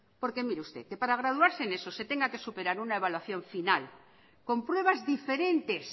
porque mire usted que para graduarse en eso se tenga que superar una evaluación final con pruebas diferentes